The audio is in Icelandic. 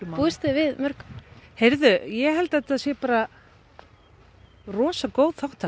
búist þið við mörgum ég held að þetta sé rosa góð þátttaka